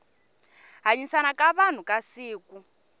hanyisana ka vanhu ka siku